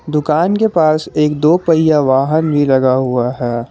दुकान के पास एक दो पहिया वाहन भी लगा हुआ है।